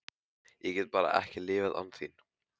Ég get bara ekki lifað án þín.